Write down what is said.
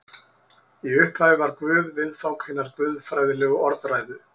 Í upphafi var Guð viðfang hinnar guðfræðilegu orðræðu.